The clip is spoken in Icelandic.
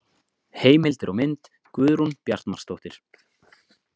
Heimildir og mynd Guðrún Bjartmarsdóttir.